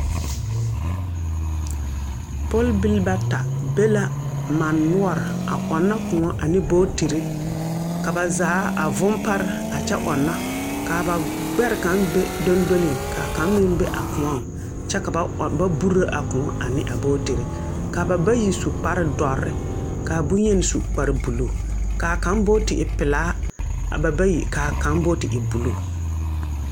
Pɔlbil bata be la mane noɔre a ɔŋnɔ kõɔ ane booterre ka ba zaa a vugpare a kyɛ ɔŋnɔ kaa ba gbɛre kang are dongdoliŋ kaa kaŋa meŋ be a kõɔŋ kyɛ ka ba burro a kõɔ eŋnɛ a booterre ka ba bayi su kparedɔrre ka bonyeni su kpareblue kaa kang boote e pilaa a ba bayi kaa kang boote e blue.